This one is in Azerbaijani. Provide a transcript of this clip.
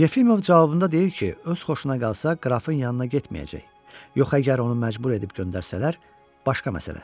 Yefimov cavabında deyir ki, öz xoşuna qalsa qrafın yanına getməyəcək, yox əgər onu məcbur edib göndərsələr, başqa məsələ.